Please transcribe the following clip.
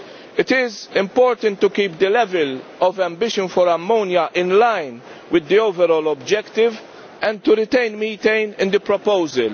It is important to keep the level of ambition for ammonia in line with the overall objective and to retain methane in the proposal.